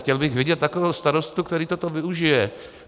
Chtěl bych vidět takového starostu, který toto využije.